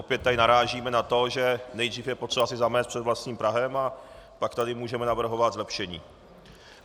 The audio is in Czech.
Opět tady narážíme na to, že nejdřív je potřeba si zamést před vlastním prahem, a pak tady můžeme navrhovat zlepšení.